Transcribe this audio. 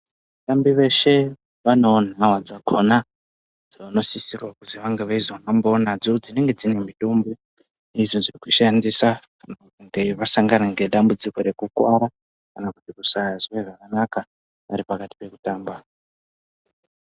Vatambi veshe vanewo nhawa dzakona dzawnosisirwa kuti vainge vazohambe nadzo dzinenge dzine mitombo izvo zvekushandisa kana kunge vasangana ngedambudziko rekuwara kana kusanzwe zvakanaka vari pakati pekutamba.